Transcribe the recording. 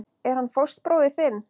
Er hann fóstbróðir þinn?